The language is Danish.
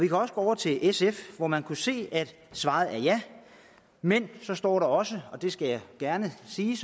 gå over til sf hvor man kan se at svaret er et ja men står der så også og det skal jeg gerne sige